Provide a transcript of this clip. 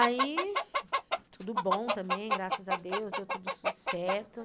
Aí, tudo bom também, graças a Deus, deu tudo certo.